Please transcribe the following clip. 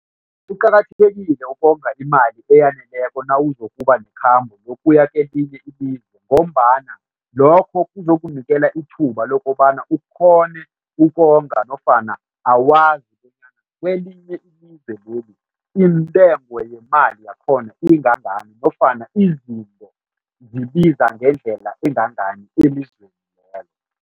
Kuqakathekile ukonga imali eyaneleko nawuzokuba nekhambo lokuya kwelinye ilizwe ngombana lokho kuzokunikela ithuba lokobana ukghone ukonga nofana awazi kobana kwelinye ilizwe leli intengo yemali yakhona ingangani nofana izinto ziziba ngendlela engangani elizweni lelo.